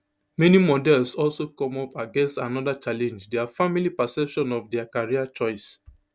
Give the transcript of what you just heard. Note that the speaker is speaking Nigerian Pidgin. many models also come up against anoda challenge dia family perception of dia career choice